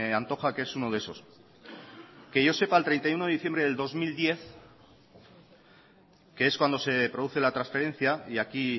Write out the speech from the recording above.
antoja que es uno de esos que yo sepa el treinta y uno de diciembre del dos mil diez que es cuando se produce la transferencia y aquí